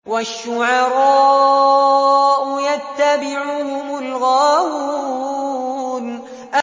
وَالشُّعَرَاءُ يَتَّبِعُهُمُ الْغَاوُونَ